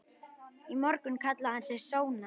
Í morgun kallaði hann sig Sónar.